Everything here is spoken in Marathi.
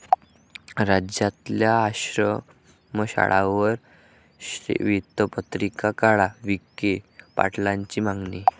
राज्यातल्या आश्रमशाळांवर श्वेतपत्रिका काढा, विखे पाटलांची मागणी